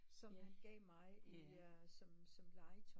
Som han gav mig i som som legetøj